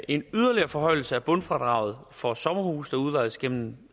en yderligere forhøjelse af bundfradraget for sommerhuse der udlejes gennem